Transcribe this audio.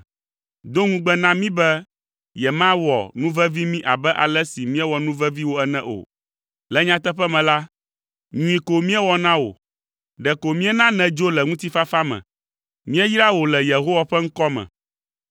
Do ŋugbe na mí be yemawɔ nuvevi mí abe ale si míewɔ nuvevi wò ene o. Le nyateƒe me la, nyui ko míewɔ na wò; ɖeko míena nèdzo le ŋutifafa me. Míeyra wò le Yehowa ƒe ŋkɔ me.”